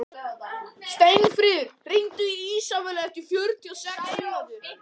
Steinfríður, hringdu í Ísabellu eftir fjörutíu og sex mínútur.